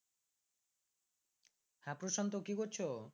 হ্যাঁ প্রশান্ত কি করছো?